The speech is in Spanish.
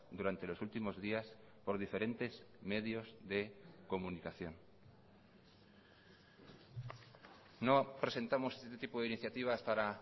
durante los últimos días por diferentes medios de comunicación no presentamos este tipo de iniciativas para